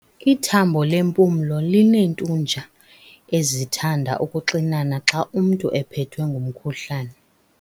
Ithambo lempumlo lineentunja ezithanda ukuxinana xa umntu ephethwe ngumkhuhlane.